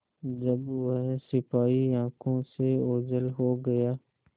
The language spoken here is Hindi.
जब वह सिपाही आँखों से ओझल हो गया